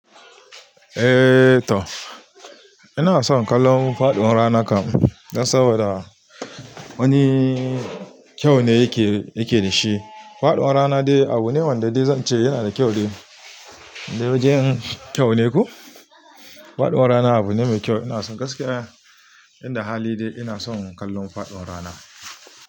Eh, toh, ina son kallon faɗuwan rana kam, dan saboda wani kyau ne yake, yake dashi. Faduwar rana dai abune wanda zance yana da kyau dai indai wajen kyau ne ko faɗuwan rana abu ne mai kyau. Ina son gaskiya, inda hali dai ina son kallon faɗuwan rana.